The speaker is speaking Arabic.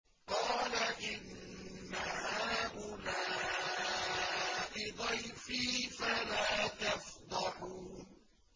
قَالَ إِنَّ هَٰؤُلَاءِ ضَيْفِي فَلَا تَفْضَحُونِ